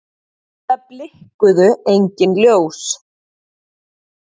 Það blikkuðu engin ljós.